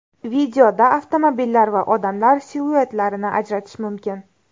Videoda avtomobillar va odamlar siluetlarini ajratish mumkin.